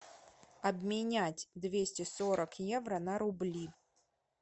обменять двести сорок евро на рубли